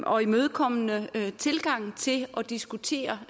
og imødekommende tilgang til at diskutere